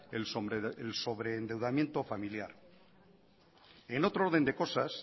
el sobreendeudamiento familiar en otro orden de cosas